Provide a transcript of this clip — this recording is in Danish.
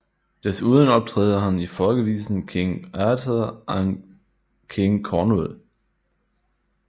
Desuden optræder han i folkevisen King Arthur and King Cornwall